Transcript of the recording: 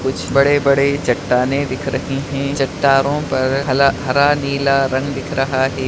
कुछ बड़े-बड़े चट्टानें दिख रही है चट्टानों पर हला हरा नीला रंग दिख रहा है।